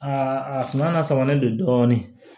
a kuma lasamanen don dɔɔnin